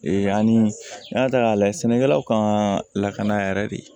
ani y'a ta k'a lajɛ sɛnɛkɛlaw ka lakana yɛrɛ de